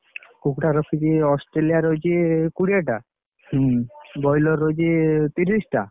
କୁକୁଡ଼ା ରଖିଛି ଅଷ୍ଟ୍ରେଲିୟା ରହିକି କୁଡିଏ ଟା, ବ୍ରଏଲର ରହିଛି ତିରିଶଟା ଆଉ ଦଶଟା ଦେଶୀ ରହୁଛି ଆଉ।